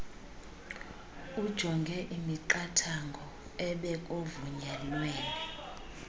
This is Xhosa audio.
ujonge imiqathango ebekuvunyelwene